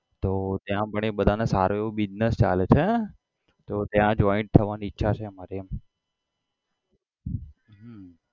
તો ત્યાં પણ એ બધાનો સારો એવો business ચાલે છે તો ત્યાં join થવાની ઈચ્છા છે અમારી એમ હમ